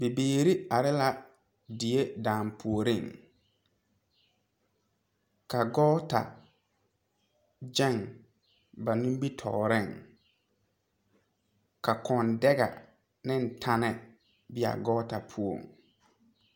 Bibiiri are la die danpuori, ka gɔɔta gyaŋ ba nimitɔɔre, ka kɔŋ dɛga ne tenne beɛ gɔɔta poɔ.